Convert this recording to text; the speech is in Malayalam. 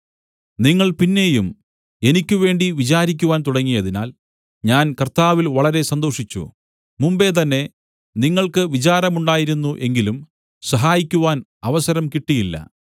നിങ്ങൾ പിന്നെയും എനിക്ക് വേണ്ടി വിചാരിക്കുവാൻ തുടങ്ങിയതിനാൽ ഞാൻ കർത്താവിൽ വളരെ സന്തോഷിച്ചു മുമ്പെ തന്നെ നിങ്ങൾക്ക് വിചാരമുണ്ടായിരുന്നു എങ്കിലും സഹായിക്കുവാൻ അവസരം കിട്ടിയില്ല